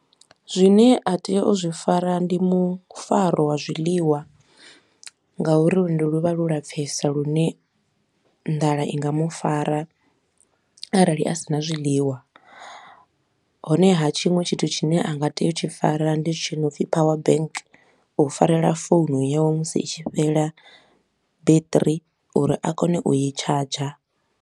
Zwine a tea u zwi fara ndi mufaro wa zwiḽiwa nga uri luendo lu vha lwo lapfesa lune nḓala i nga mu fara arali a si na zwiḽiwa. Honeha tshiṅwe tshithu tshine a nga tea u tshi fara ndi tshi no pfi power bank, u farela founu yawe musi i tshi fhela battery uri a kone u i charger.